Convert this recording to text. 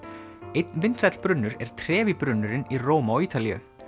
einn vinsæll brunnur er brunnurinn í Róm á Ítalíu